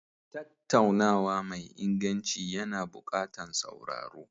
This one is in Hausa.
Tattaunawa mai inganci yana buƙatar sauraro.